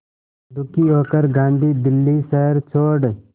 दुखी होकर गांधी दिल्ली शहर छोड़